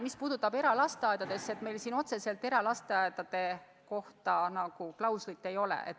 Mis puutub eralasteaedadesse, siis meil siin otseselt eralasteaedade kohta klauslit ei ole.